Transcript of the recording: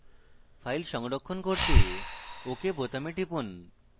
file সংরক্ষণ করতে ok বোতামে টিপুন